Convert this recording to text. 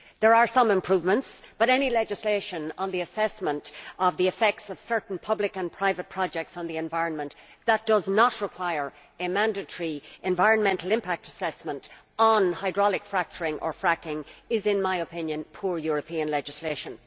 There are some improvements, but any legislation on the assessment of the effects of certain public and private projects on the environment that does not require a mandatory environmental impact assessment on hydraulic fracturing or fracking is, in my opinion, poor European legislation.